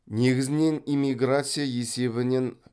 негізінен иммиграция есебінен